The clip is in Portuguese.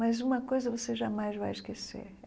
Mas uma coisa você jamais vai esquecer.